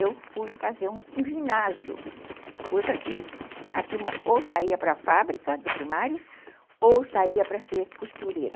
Eu fui fazer um ginásio, coisa que a turma ou saía para a fábrica do primário ou saía para ser costureira.